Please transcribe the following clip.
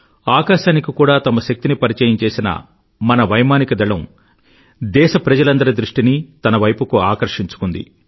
ఆకాశానికి కూడా తమ శక్తిని పరిచయం చేసిన మన వైమానిక దళం దేశప్రజలందరి దృష్టినీ తన వైపుకి ఆకర్షించుకుంది